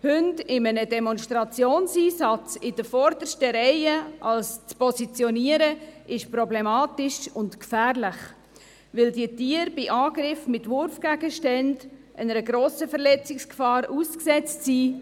Hunde bei einem Demonstrationseinsatz in der vordersten Reihe zu positionieren, ist problematisch und gefährlich, weil diese Tiere bei Angriffen mit Wurfgegenständen einer grossen Verletzungsgefahr ausgesetzt sind.